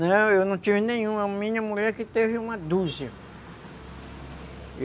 Não, eu não tive nenhum, a minha mulher que teve uma dúzia.